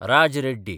Raj Reddy